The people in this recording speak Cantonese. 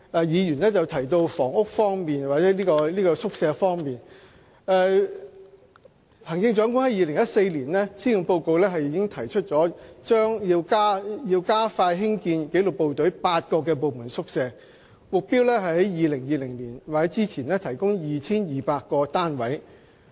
議員剛才提到宿舍方面，行政長官在2014年施政報告中提出，加快興建紀律部隊的8個部門宿舍項目，目標是在2020年或之前提供超過 2,200 個單位。